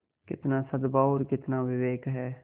कितना सदभाव और कितना विवेक है